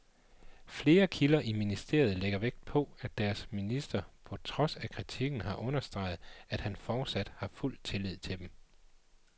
Flere kilder i ministeriet lægger stor vægt på, at deres minister på trods af kritikken har understreget, at han fortsat har fuld tillid til dem.